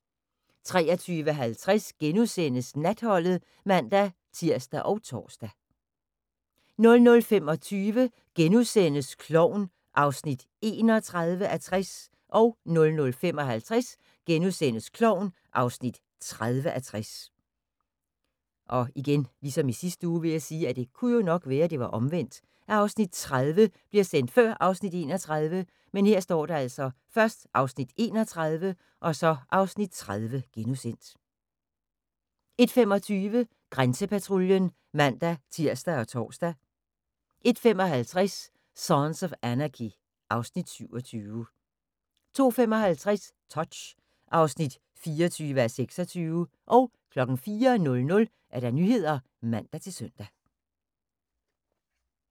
23:50: Natholdet *(man-tir og tor) 00:25: Klovn (31:60)* 00:55: Klovn (30:60)* 01:25: Grænsepatruljen (man-tir og tor) 01:55: Sons of Anarchy (Afs. 27) 02:55: Touch (24:26) 04:00: Nyhederne (man-søn)